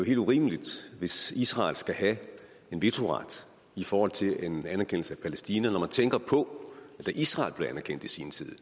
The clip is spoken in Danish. helt urimeligt hvis israel skal have en vetoret i forhold til en anerkendelse af palæstina når man tænker på at da israel i sin tid